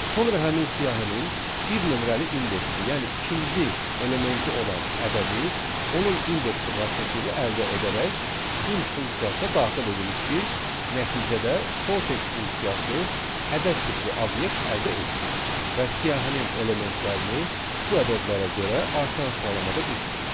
Sonra həmin siyahının bir nömrəli indeksi, yəni ikinci elementi olan ədədi onun indeksi vasitəsilə əldə edərək int funksiyasına daxil edirik ki, nəticədə sorted funksiyası ədəd tipli obyekt əldə etsin və siyahının elementlərini bu ədədlərə görə artan sıralamada düzsün.